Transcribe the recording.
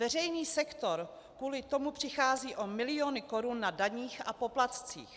Veřejný sektor kvůli tomu přichází o miliony korun na daních a poplatcích.